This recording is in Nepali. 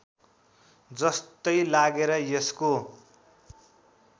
जस्तै लागेर यसको